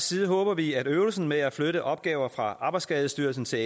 side håber vi at øvelsen med at flytte opgaver fra arbejdsskadestyrelsen til